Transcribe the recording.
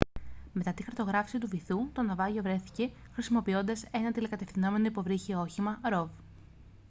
μετά τη χαρτογράφηση του βυθού το ναυάγιο βρέθηκε χρησιμοποιώντας ένα τηλεκατευθυνόμενο υποβρύχιο όχημα rov